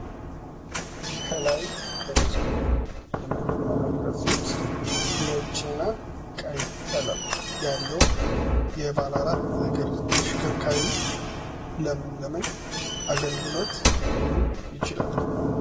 ከላይ በምስሉ ላይ የምትመለከቱት ነጭ እና ቀይ ቀለም ያለው የባለ አራት እግር ተሽከርካሪ ለምን ለምን አገልግሎት ሊውል ይችላል?